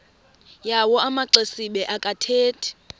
yawo amaxesibe akathethi